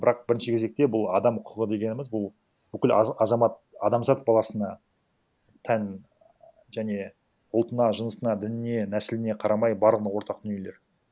бірақ бірінші кезекте бұл адам құқығы дегеніміз бұл бүкіл азамат адамзат баласына тән және ұлтына жынысына дініне нәсіліне қарамай барлығына ортақ дүниелер